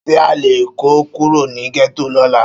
Ṣé a lè kó Kúrò ní gẹ́tò lóla